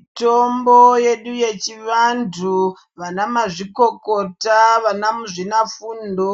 Mitombo yedu yechivanthu vana mazvikokota vana muzvina fundo